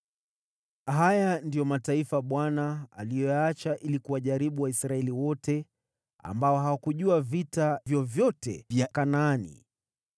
Haya ndiyo mataifa Bwana aliyoyaacha ili kuwajaribu Waisraeli wote ambao hawakujua vita vyovyote vya Kanaani